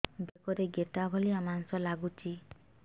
ବେକରେ ଗେଟା ଭଳିଆ ମାଂସ ଲାଗୁଚି